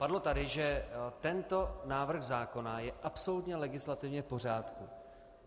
Padlo tady, že tento návrh zákona je absolutně legislativně v pořádku.